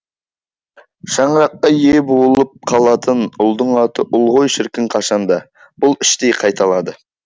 шаңыраққа ие болып қалатын ұлдың аты ұл ғой шіркін қашанда бұл іштей қайталады